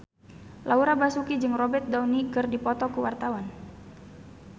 Laura Basuki jeung Robert Downey keur dipoto ku wartawan